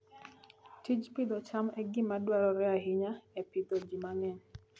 Tij pidho cham en gima dwarore ahinya e pidho ji mang'eny